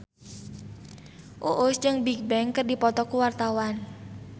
Uus jeung Bigbang keur dipoto ku wartawan